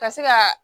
Ka se ka